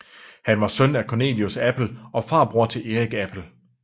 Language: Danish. Han var søn af Cornelius Appel og farbror til Erik Appel